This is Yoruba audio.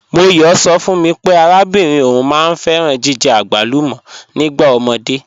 M̀ọyọ̣ sọ̀ fún mí pé àràbìnrin ọún máá n fẹ̀ràn jìjẹ̀ agbàlùmọ̀ nígbà omódé.